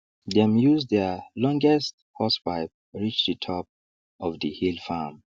dem use their longest hosepipe reach the top of the hill farm